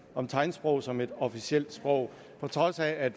om tegnsprog som et officielt sprog på trods af at